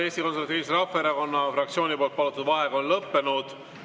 Eesti Konservatiivse Rahvaerakonna fraktsiooni palutud vaheaeg on lõppenud.